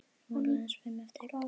Nú eru aðeins fimm eftir.